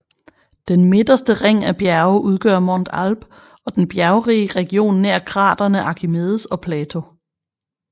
Den midterste ring af bjerge udgør Montes Alpes og den bjergrige region nær kraterne Archimedes og Plato